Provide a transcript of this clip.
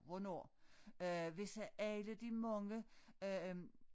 Hvornår øh hvis alle de mange øh